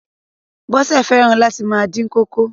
Bọ́sẹ̀ fẹ́ràn láti máa dín kókò.